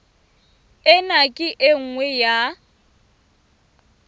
ena ke e nngwe ya